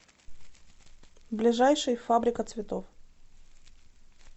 ближайший фабрика цветов